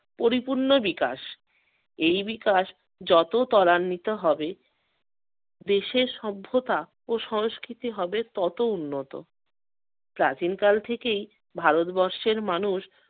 পরিপূর্ণ বিকাশ। এই বিকাশ যত তরান্বিত হবে দেশের সভ্যতা ও সংস্কৃতি হবে ততো উন্নত। প্রাচীনকাল থেকেই ভারতবর্ষের মানুষ